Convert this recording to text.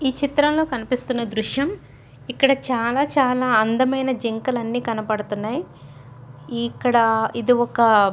ఈ చిత్రంలో కనిపిస్తున్న దృశ్యం ఇక్కడ చాలా చాలా అందమైన జింకలన్నీ కనబడుతున్నాయి. ఇక్కడ ఇది ఒక --